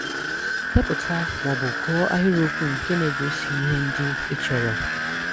Kèpụ̀tà ma ọ̀ bụ̀ gụ́ọ̀ ahịrị́okwù nke na-egósí ihè ndị́ e chọ̀rọ̀